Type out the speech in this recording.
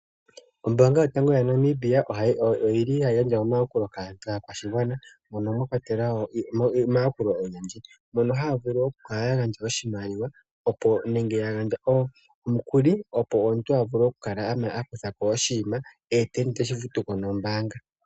Ombaanga yotango yaNamibia ohayi gandja omayakulo kaakwashigwana mono mwakwatelwa omayakulo ogendji. Ohaya vulu okukaka yagandja oshimaliwa nenge yagandje omukuli opo omuntu avule oku kala akuthako oshinima ye teshi futuko nombaanga.